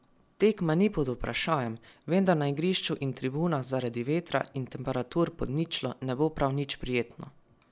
Tekma ni pod vprašajem, vendar na igrišču in tribunah zaradi vetra in temperatur pod ničlo ne bo prav nič prijetno.